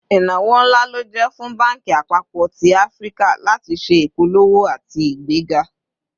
Ìnáwó ńlá ló jẹ́ fún banki àpapọ̀ tí Áfíríkà láti ṣé ìpolówó àti igbega